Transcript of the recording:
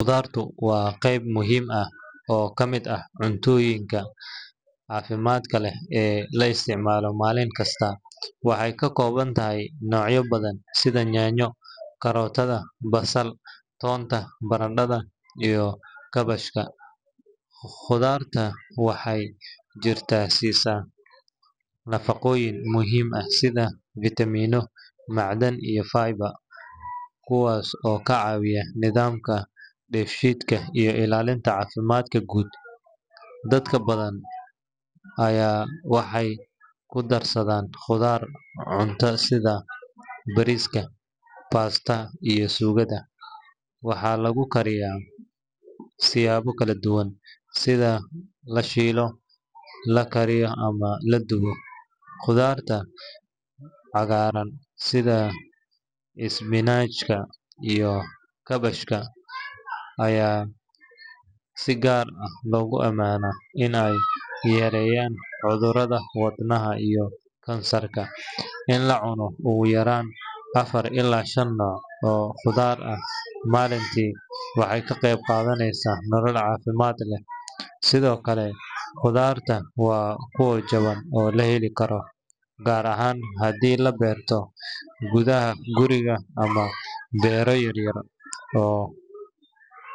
Khudaartu waa qeyb muhiim ah oo ka mid ah cuntooyinka caafimaadka leh ee la isticmaalo maalin kasta. Waxay ka kooban tahay noocyo badan sida yaanyo, karootada, basal, toonta, barandhada, iyo kaabashka. Khudaartu waxay jirka siisaa nafaqooyin muhiim ah sida fiitamiino, macdan, iyo fiber, kuwaas oo ka caawiya nidaamka dheefshiidka iyo ilaalinta caafimaadka guud. Dadka badankood waxay ku darsadaan khudaar cuntada sida bariiska, pasta, iyo suugada. Waxaa lagu kariyaa siyaabo kala duwan sida la shiilo, la kariyo ama la dubo. Khudaarta cagaaran sida isbinaajka iyo kabsarka ayaa si gaar ah loogu amaanaa in ay yareeyaan cudurrada wadnaha iyo kansarka. In la cuno ugu yaraan afar ilaa shan nooc oo khudaar ah maalintii waxay ka qeyb qaadataa nolol caafimaad leh. Sidoo kale, khudaartu waa kuwo jaban oo la heli karo, gaar ahaan haddii la beerto gudaha guriga ama beero yaryar oo.